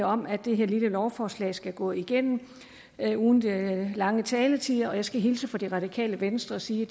om at det her lille lovforslag skal gå igennem uden de lange taletider jeg skal hilse fra det radikale venstre og sige